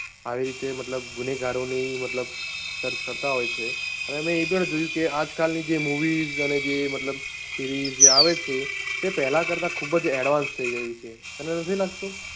આવી રીતે મતલબ ગુનેગારો ની મતલબ search કરતાં હોય છે. અને મેં એ પણ જોયું કે આજકાલ ની જે movies અને જે મતલબ series જે આવે છે તે પહેલા કરતા ખુબજ advance થઈ ગયું છે તને નથી લાગતું?